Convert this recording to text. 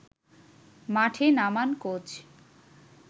মাঠে নামান কোচ